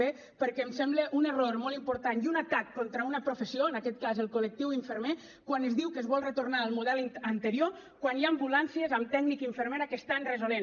b perquè em sembla un error molt important i un atac contra una professió en aquest cas el col·lectiu infermer quan es diu que es vol retornar al model anterior quan hi ha ambulàncies amb tècnic i infermera que estan resolent